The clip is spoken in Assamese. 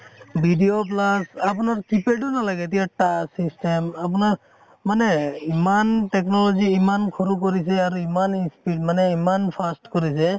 video plus আপোনাৰ keypad ও নালাগে এতিয়া touch system আপোনাৰ মানে ইমান technology ইমান সৰু কৰিছে আৰু ইমান speed মানে ইমান fast কৰিছে